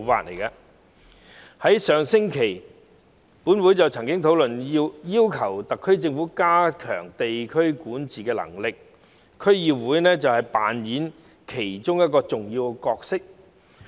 本會在上星期曾討論要求特區政府加強地區管治能力，而區議會在當中扮演重要的角色。